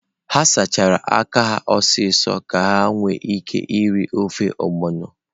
Ha sachara aka ha ọsọ ọsọ ka ha nwee ike iri ofe ogbono.